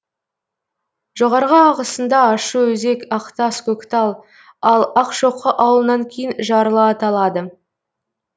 жоғарғы ағысында ащыөзек ақтас көктал ал ақшоқы ауылынан кейін жарлы аталады